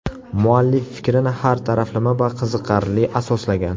Muallif fikrini har taraflama va qiziqarli asoslagan.